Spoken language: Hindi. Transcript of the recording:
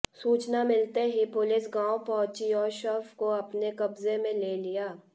सूचना मिलते ही पुलिस गांव पहुंची और शव को अपने कब्जे में ले लिया